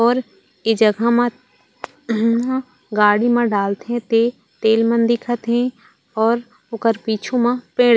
और ए जगह मा हुम्म्म गाड़ी मा डालथे ते तेल मन दिखत हे और ओकर पिछु मा पेड़--